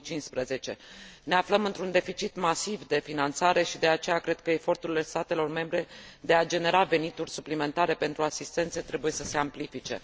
2015. Ne aflăm într un deficit masiv de finanțare și, de aceea, cred că eforturile statelor membre de a genera venituri suplimentare pentru asistență trebuie să se amplifice.